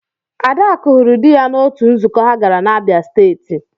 Adaku hụrụ dị ya n'otu nzukọ ha gara na Abia State.